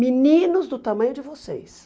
Meninos do tamanho de vocês.